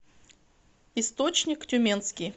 источник тюменский